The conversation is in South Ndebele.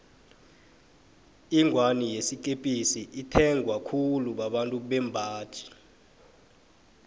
ingwani eyikepisi ithengwa khulu babantu bembaji